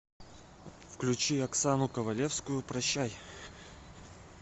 включи оксану ковалевскую прощай